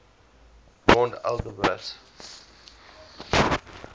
rond alembert